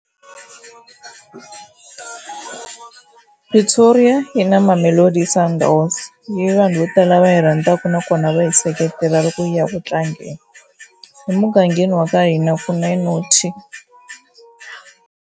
Pretoria yi na Mamelodi Sundowns leyi vanhu vo tala va yi rhandzaka na kona va yi seketela loko yi ya ku tlangeni. Emugangeni wa ka hina ku na Naught.